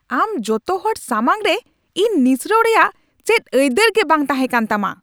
ᱟᱢ ᱡᱚᱛᱚ ᱦᱚᱲ ᱥᱟᱢᱟᱝ ᱨᱮ ᱤᱧ ᱱᱤᱥᱲᱟᱣ ᱨᱮᱭᱟᱜ ᱪᱮᱫ ᱟᱹᱭᱫᱟᱹᱨ ᱜᱮ ᱵᱟᱝ ᱛᱟᱦᱮᱸ ᱠᱟᱱ ᱛᱟᱢᱟ ᱾